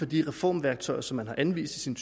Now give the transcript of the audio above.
de reformværktøjer som man har anvist i sin